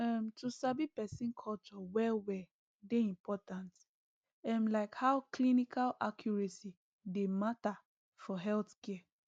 um to sabi person culture well well dey important um like how clinical accuracy dey matter for healthcare